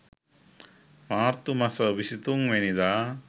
මාර්තු මස 23 වැනිදා